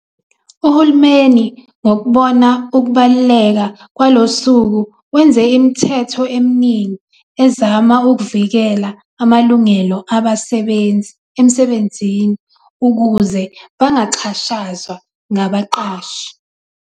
Uhulumeni ngokubona ukubaluleka kwalosuku wenze imithetho eminingi ezama ukuvikela amalungelo abasebenzi emsebenzini, ukuze bangaxhashazwa ngabaqashi.